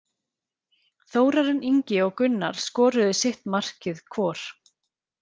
Þórarinn Ingi og Gunnar skoruðu sitt markið hvor.